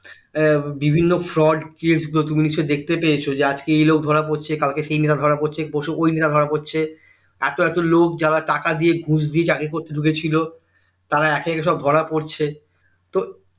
এর বিভিন্ন fraud case গুলো তুমি নিশ্চই দেখতে পেয়েছো যে আজকে এই লোক ধরা পড়ছে কালকে সেই ধরা পড়ছে পরশু অন্য রা ধরা পড়ছে এত এত লোক যারা টাকা দিয়ে ঘুষ দিয়ে চাকরি করতে ঢুকেছিলো তারা একা একা সব ধরা পড়ছে তো